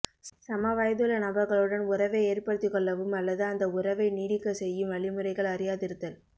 சமவயதுள்ள நபர்களுடன் உறவை ஏற்படுத்திக்கொள்ளவும் அல்லது அந்த உறவை நீடிக்கச் செய்யும் வழிமுறைகள் அறியாதிருத்தல்